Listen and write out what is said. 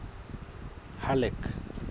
halleck